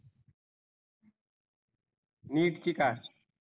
NEET ची का?